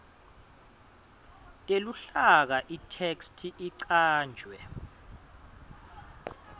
teluhlaka itheksthi icanjwe